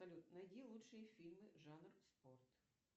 салют найди лучшие фильмы жанр спорт